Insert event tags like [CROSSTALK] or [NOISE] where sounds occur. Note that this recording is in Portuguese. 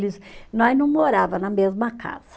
[UNINTELLIGIBLE] Nós não morava na mesma casa.